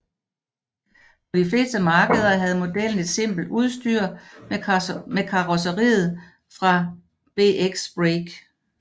På de fleste markeder havde modellen et simpelt udstyr med karrosseriet fra BX Break